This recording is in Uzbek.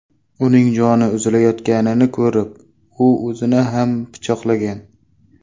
Uning joni uzilayotganini ko‘rib, u o‘zini ham pichoqlagan.